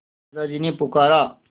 दादाजी ने पुकारा